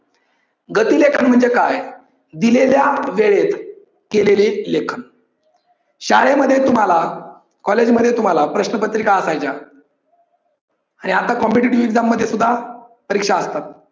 गती लेखन म्हणजे काय दिलेल्या वेळेत केलेले लेखन. शाळेमध्ये तुम्हाला college मध्ये तुम्हाला प्रश्न पत्रिका असायच्या आणि आता competitive exam मध्ये सुद्धा परीक्षा असतात.